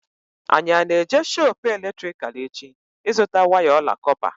Anyị ana-eje shoopu eletrikal echi ịzụta waya ọla kọpa?